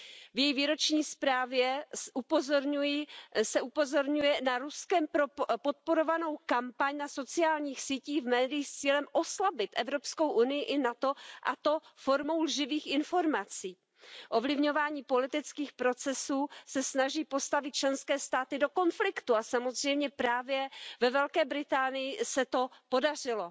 V její výroční zprávě se upozorňuje na Ruskem podporovanou kampaň na sociálních sítích a v médiích s cílem oslabit Evropskou unii i NATO, a to formou lživých informací. Ovlivňování politických procesů se snaží postavit členské státy do konfliktu a samozřejmě právě ve Velké Británii se to podařilo.